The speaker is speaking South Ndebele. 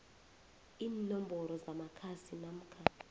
iinomboro zamakhasi namkha